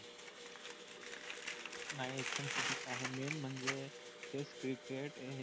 नाही एकदम चुकीचं आहे main म्हणजे test cricket हे